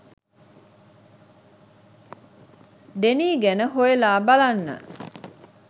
Denis ගැන හොයලා බලන්න